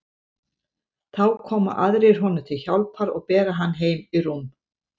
Þá koma aðrir honum til hjálpar og bera hann heim í rúm.